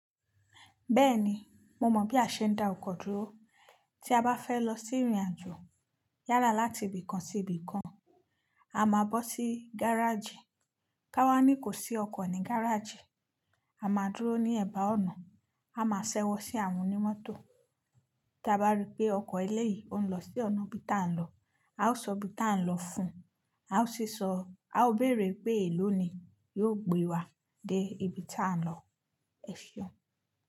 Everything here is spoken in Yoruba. Bẹ́ẹ̀ni, mo mọ̀ bí a ṣe ń dá ọkọ̀ dúró. Tí a bá fẹ́ lọ sí ìrìnàjò yala láti ibì kan sí ibì kan, a máa bọ́ sí gáràjì. Kawá ní kò sí ọkọ̀ ní gáràjì, a máa dúró ní ẹ̀bá ọ̀nà, a máa ṣẹ́wọ́ sí àwọn onímótò. Tí a bá rí pé ọkọ̀ eléyìí ò ń lọ sí ọ̀nà ibi tí à ń lọ, a ó sọ ibi tí à ń lọ fún un, a ó sì sọ, a ó bèrè pé èló ni yóò gbé wa dé ibi tí à ń lọ. Ẹ fi ọ́.